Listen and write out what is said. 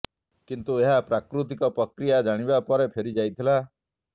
କିନ୍ତୁ ଏହା ପ୍ରାକୃତିକ ପ୍ରକ୍ରିୟା ଜାଣିବା ପରେ ଫେରି ଯାଇଥିଲା